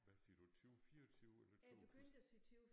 Hvad siger du 20 24 eller 2 tus